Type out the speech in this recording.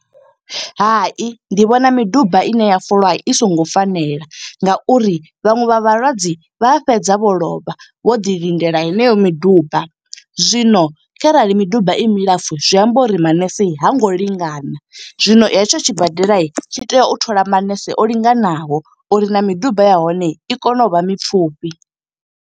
Hai, ndi vhona miduba ine ya folwa i songo fanela nga uri vhaṅwe vha vhalwadze, vha fhedza vho lovha. Vho ḓi lindela heneyo miduba, zwino kharali miduba i milapfu zwi amba uri manese ha ngo lingana. Zwino hetsho tshi badela tshi tea u thola manese o linganaho, uri na miduba ya hone i kone u vha mipfufhi.